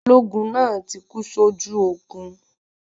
Balógun náà tí kú sójú ogun